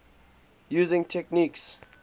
using techniques